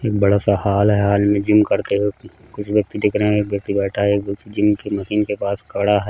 एक बड़ा सा हॉल है हॉल में जिम करते वक्त कुछ व्यक्ति दिख रहे हैं एक व्यक्ति बैठा है एक व्यक्ति जिम की मशीन के पास खड़ा है।